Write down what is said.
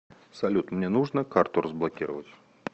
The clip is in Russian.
салют мне нужно карту разблокировать